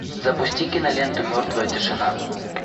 запусти киноленту мертвая тишина